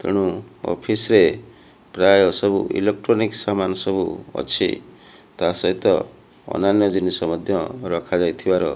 ଏଣୁ ଅଫିସ୍ ରେ ପ୍ରାୟ ସବୁ ଇଲେକ୍ଟ୍ରୋନିକ୍ସ୍ ସାମାନ ସବୁ ଅଛି ତା ସହିତ ଅନ୍ୟାନ୍ୟ ଜିନିଷ ମଧ୍ଯ ରଖାଯାଇଥିବାର --